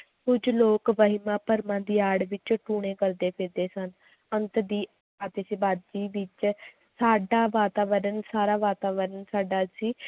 ਕੁੱਝ ਲੋਕ ਵਹਿਮਾਂ ਭਰਮਾਂ ਦੀ ਆੜ ਵਿੱਚ ਟੂਣੇ ਕਰਦੇੇ ਫਿਰਦੇ ਸਨ ਅੰਤ ਦੀ ਆਤਿਸ਼ਬਾਜ਼ੀ ਵਿੱਚ ਸਾਡਾ ਵਾਤਾਵਰਨ ਸਾਰਾ ਵਾਤਾਵਰਨ ਸਾਡਾ ਸੀ l